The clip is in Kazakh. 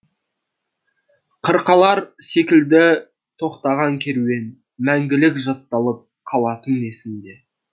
қырқалар секілді тоқтаған керуен мәңгілік жатталып қалатын есіңде